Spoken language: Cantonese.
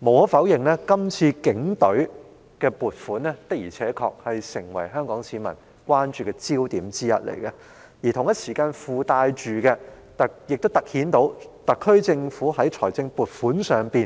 無可否認，警隊的撥款的確成為香港市民今次關注的焦點之一，隨之而來的是，這亦突顯了特區政府處理財政撥款的